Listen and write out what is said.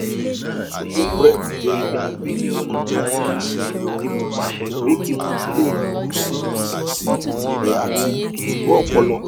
solupred jẹ prednisolone ati awọn sitẹriọdu le buru si iṣesi rẹ ati ironu ọpọlọ